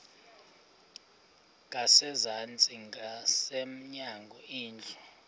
ngasezantsi ngasemnyango indlu